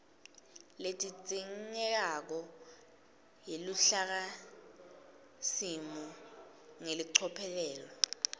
ledzingekako yeluhlakasimo ngelicophelo